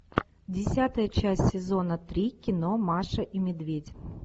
десятая часть сезона три кино маша и медведь